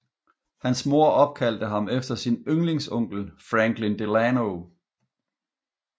Hans mor opkaldte ham efter sin yndlingsonkel Franklin Delano